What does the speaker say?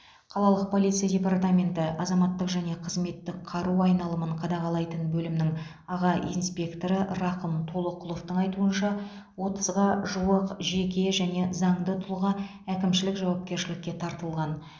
қалалық полиция департаменті азаматтық және қызметтік қару айналымын қадағалайтын бөлімнің аға инспекторы рақым толоқұловтың айтуынша отызға жуық жеке және заңды тұлға әкімшілік жауапкершілікке тартылған